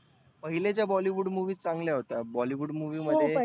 पहील्या ज्या bollywood movies चांगल्या होत्या. bollywood movie मध्ये